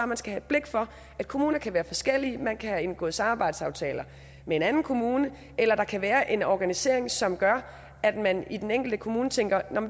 man skal have blik for at kommuner kan være forskellige man kan have indgået samarbejdsaftaler med en anden kommune eller der kan være en organisering som gør at man i den enkelte kommune tænker at